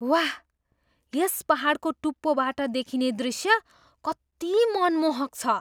वाह! यस पाहाडको टुप्पोबाट देखिने दृश्य कति मनमोहक छ!